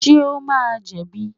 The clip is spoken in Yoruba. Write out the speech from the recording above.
Ṣé o máa jẹ̀bi?